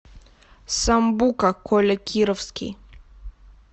самбука коля кировский